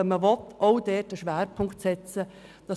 Man kann dort explizit einen Schwerpunkt setzen, wenn man will.